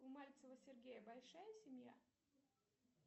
у мальцева сергея большая семья